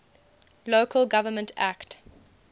local government act